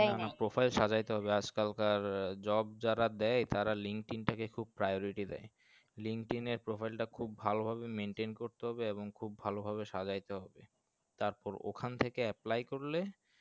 profile সাজাতে হবে আজ কাল কার job যারা দেয় তারা linkedin থেকে খুব priority দেয় linkedin profile টা খুব ভালো ভাবে maintain করতে হবে এবং খুব ভালো ভাবে সাজাই তে হবে তারপর ওখান থেকে apply করলে